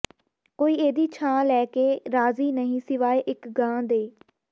ਕੋਈ ਇਹਦੀ ਛਾਂ ਲੈ ਕੇ ਰਾਜੀ਼ ਨਹੀਂ ਸਿਵਾਏ ਇੱਕ ਗਾਂ ਦੇ